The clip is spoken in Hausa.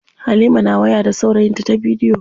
Halima na waya da saurayinta ta bidiyo.